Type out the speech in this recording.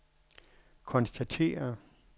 konstatere